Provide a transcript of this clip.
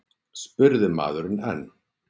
spurði maðurinn enn.